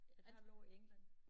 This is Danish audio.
Et halvt år i England